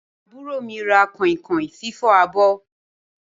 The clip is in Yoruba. Àbúrò mi ra kọ̀inkọ̀in fifọ abọ́.